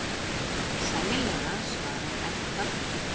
Sennilega, svarar Edda.